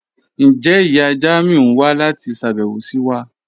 Njẹ iya Jamiu n wa lati ṣabẹwo si wa?